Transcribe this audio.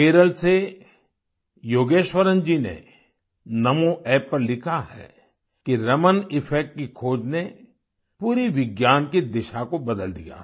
केरल से योगेश्वरन जी ने NamoApp पर लिखा है कि रमन इफेक्ट की खोज ने पूरी विज्ञान की दिशा को बदल दिया था